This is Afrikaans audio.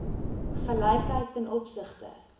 gelykheid ten opsigte